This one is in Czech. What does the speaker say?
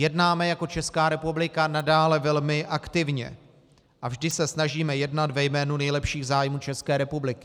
Jednáme jako Česká republika nadále velmi aktivně a vždy se snažíme jednat ve jménu nejlepších zájmů České republiky.